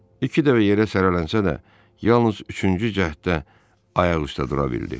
İki dəfə yerə sərilənsə də, yalnız üçüncü cəhddə ayaq üstə dura bildi.